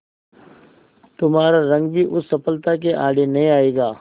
तुम्हारा रंग भी उस सफलता के आड़े नहीं आएगा